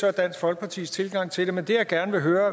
er dansk folkepartis tilgang til det men det jeg gerne høre